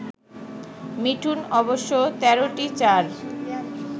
মিঠুন অবশ্য ১৩টি চার